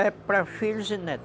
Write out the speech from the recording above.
É para filhos e netos.